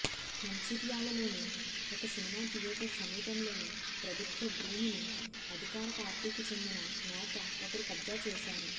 మంచిర్యాలలోని ఒక cinema theatre సమీపంలోని ప్రభుత్వ భూమిని అధికార పార్టీకి చెందిన నేత ఒకరు కబ్జా చేశారు